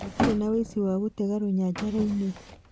Gũtire na ũici wa gũtega rũnyanja-ĩnĩ.